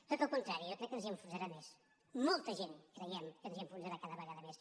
tot el contrari jo crec que ens enfonsarà més molta gent creiem que ens enfonsarà cada vegada més